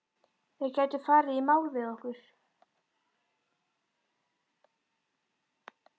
Þeir gætu farið í mál við okkur.